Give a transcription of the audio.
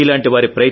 మీలాంటి వారి